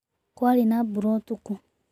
Kwarĩ na mbura ũtukũ